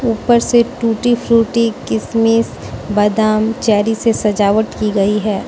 ऊपर से tutti frutti किसमिस बादाम चेरी से सजावट की गई है।